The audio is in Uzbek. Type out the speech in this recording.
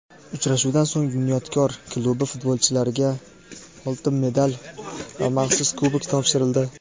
Uchrashuvdan so‘ng "Bunyodkor" klubi futbolchilariga oltin medal va maxsus kubok topshirildi.